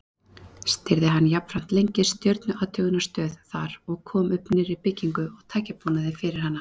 Stýrði hann jafnframt lengi stjörnuathugunarstöð þar og kom upp nýrri byggingu og tækjabúnaði fyrir hana.